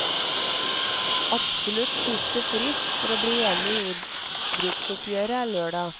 Absolutt siste frist for å bli enig i jordbruksoppgjøret er lørdag.